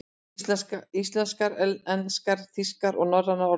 Íslenskar, enskar, þýskar og norrænar orðabækur.